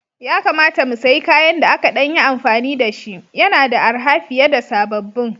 Ya kamata mu sayi kayan da aka ɗan yi amfani da shi, yana da arha fiye da sababbin